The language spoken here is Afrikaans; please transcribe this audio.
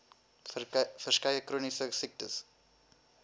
verskeie chroniese siektes